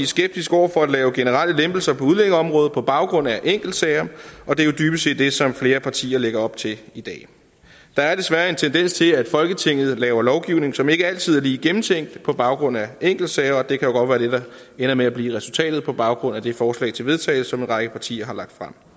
skeptisk over for at lave generelle lempelser på udlændingeområdet på baggrund af enkeltsager og det er jo dybest set det som flere partier lægger op til i dag der er desværre en tendens til at folketinget laver lovgivning som ikke altid er lige gennemtænkt på baggrund af enkeltsager og det kan godt være det der ender med at blive resultatet på baggrund af det forslag til vedtagelse som en række partier har lagt frem